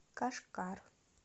кашгар